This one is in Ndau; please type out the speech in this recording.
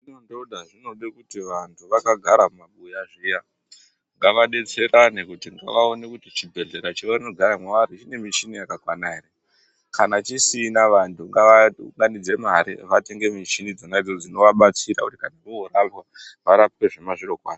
Dhodha zvinode kuti vantu vakagara mumabuya zviya ngavadetserane kuti ngavaone kuti vhibhedhlera chavanofara mwavari chine michini yakakwana ere kana chisina vantu ngavaunganidze mare vatenge muchini dzona idzodzo dzinoabatsira kuti antu orapwa varapwe zvemazviro kwazvo.